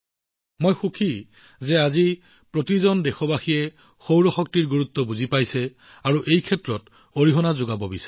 মই সুখী যে আজি প্ৰতিজন দেশীয়ে সৌৰ শক্তিৰ গুৰুত্ব বুজি পাইছে আৰু লগতে পৰিষ্কাৰ শক্তিৰ দিশত অৱদান আগবঢ়াব বিচাৰে